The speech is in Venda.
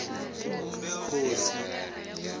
khosi